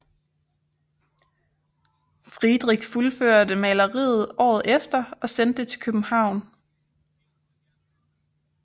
Friedrich fuldførte maleriet året efter og sendte det til København